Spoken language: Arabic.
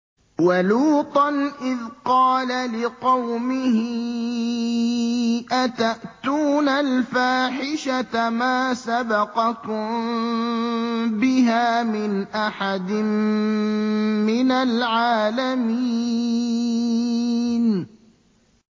وَلُوطًا إِذْ قَالَ لِقَوْمِهِ أَتَأْتُونَ الْفَاحِشَةَ مَا سَبَقَكُم بِهَا مِنْ أَحَدٍ مِّنَ الْعَالَمِينَ